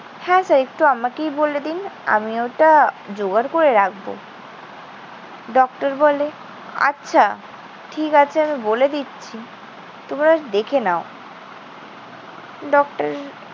হ্যাঁ, স্যার একটু আমাকেই বলে দিন, আমি ওটা জোগাড় করে রাখব। ডক্টর বলে, ঠিক আছে। আমি বলে দিচ্ছি। তোমরা দেখে নাও। ডক্টর